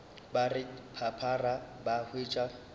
ba re phaphara ba hwetša